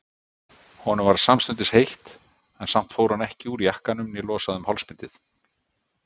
Honum varð samstundis heitt, en samt fór hann ekki úr jakkanum né losaði um hálsbindið.